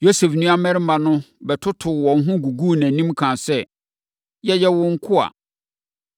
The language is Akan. Yosef nuammarima no bɛtotoo wɔn ho guguu nʼanim, kaa sɛ, “Yɛyɛ wo nkoa.”